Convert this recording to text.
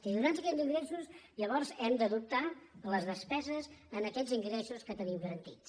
i atesos aquests ingres·sos llavors hem d’adoptar les despeses en aquests in·gressos que tenim garantits